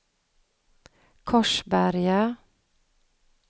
Korsberga